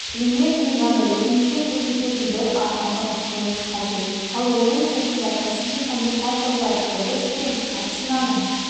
премьер-лиганы өзімізде көрсететін бір арнаны ұсынуымыз қажет ал оның сыртында кәсіби комментаторлар дыбыс пен картинканың